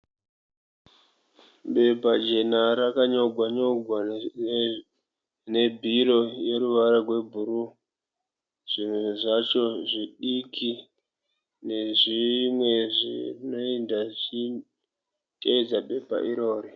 Bepa jena rakanyogwa nyogwa nebhiro yeruvara rwebhuruu. Zvimwe zvacho zvidiki nezvimwe zvinoenda zvichiteedza bepa iroro.